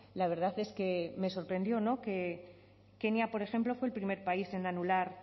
la verdad es que me sorprendió que kenia por ejemplo fue el primer país en anular